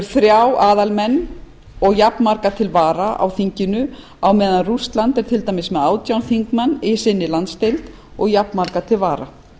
þrjá aðalmenn og jafnmarga til vara á meðan rússland er með átján þingmenn í sinni landsdeild og jafnmarga til vara